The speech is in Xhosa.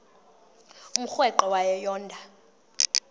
umrweqe wayo yoonda